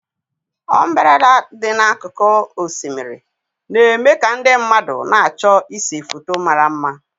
Ọmbereda dị n'akụkụ osimiri na-eme ka ndị mmadụ na-achọ ịse foto mara mma.